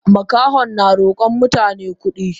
Makahon na rokon mutane kudi.